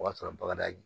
O y'a sɔrɔ bagada ye